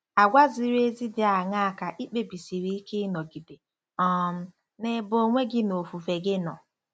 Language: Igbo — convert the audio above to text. Àgwà ziri ezi dị aṅaa ka i kpebisiri ike ịnọgide um n'ebe onwe gị na ofufe gị nọ?